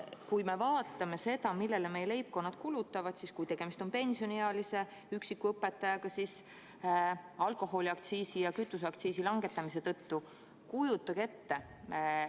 Kui me vaatame seda, millele meie leibkonnad kulutavad, siis kui tegemist on pensioniealise üksiku õpetajaga, siis alkoholiaktsiisi ja kütuseaktsiisi langetamise tõttu – kujutage ette!